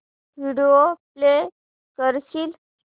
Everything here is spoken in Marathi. व्हिडिओ प्ले करशील